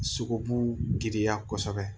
Sogobu giriya kosɛbɛ